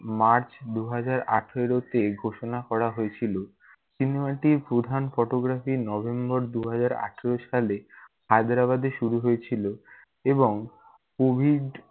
march দুই হাজার আঠারোতে ঘোষণা করা হয়েছিল। cinema টির প্রধান photographynovember দুই হাজার আঠারো সালে হায়দ্রাবাদে শুরু হয়েছিল এবং COVID